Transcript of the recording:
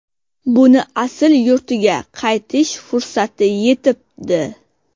Buni asl yurtiga qaytish fursati yetibdi.